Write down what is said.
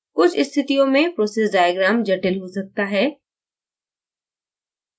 कुछ स्थितियों में process diagram जटिल हो सकता है